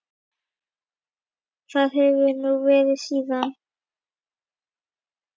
Það hefur hún verið síðan.